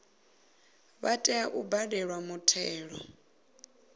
vha tea u badela muthelo